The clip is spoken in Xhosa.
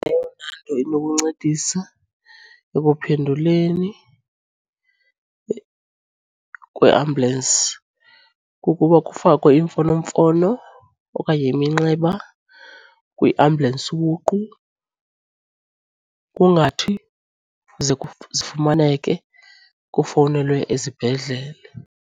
Eyona nto inokuncedisa ekuphenduleni kweambulensi kukuba kufakwe iimfonomfono okanye iminxeba kwiambulensi ubuqu. Kungathi ze zifumaneke kufowunelwe esibhedlele.